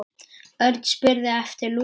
Örn spurði eftir Lúlla.